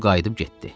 Qul qayıdıb getdi.